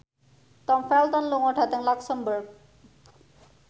Tom Felton lunga dhateng luxemburg